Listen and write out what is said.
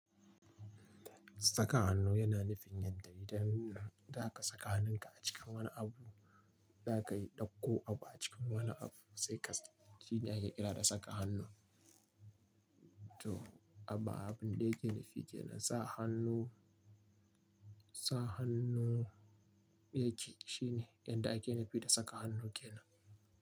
Saka hannu yana nufin yadda idan za ka saka hannunka a cikin wani abu, za ka yi ɗauko abu a cikin wani abu sai ka, shine ake kira da saka hannu. To abun da yake nufi ke nan sa hannu, sa hannu yake, shine yanda ake nufi da saka hannu ke nan.